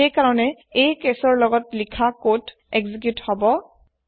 হেয় কাৰনে এই কেছৰ লগত লিখা কোড এক্সিকিউত হব